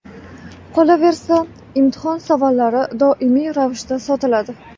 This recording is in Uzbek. Qolaversa, imtihon savollari doimiy ravishda sotiladi.